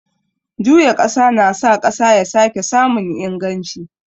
Juya ƙasa na sa ƙasa ya sake samun inganci.